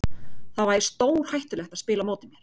Þá væri stórhættulegt að spila á móti mér.